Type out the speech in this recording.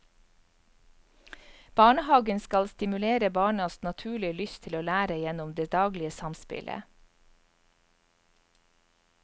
Barnehagen skal stimulere barnas naturlige lyst til å lære gjennom det daglige samspillet.